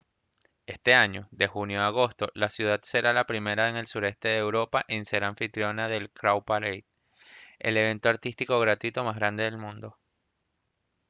este año de junio a agosto la ciudad será la primera en el sureste de europa en ser anfitriona del cowparade el evento artístico gratuito más grande del mundo